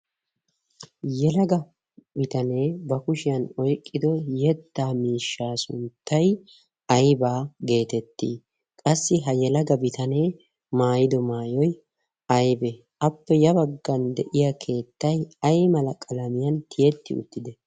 yelaga bitanee ba kushiyan oiqqido yeddaa miishshaa sunttai aibaa' geetettii qassi ha yelaga bitanee maayido maayoi aibee appe ya baggan de'iya keettai ai malaqalamiyan tiyetti uttide?